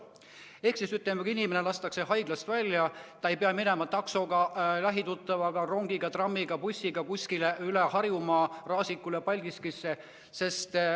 Ehk siis, ütleme, inimene lastakse haiglast välja ja ta ei pea koju minema taksoga, lähituttavaga, rongiga, trammiga ega bussiga kuskile üle Harjumaa, näiteks Raasikule või Paldiskisse.